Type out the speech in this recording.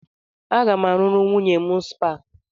Aga m arụrụ nwunye m spa.